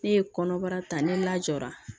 Ne ye kɔnɔbara ta ne lajɔra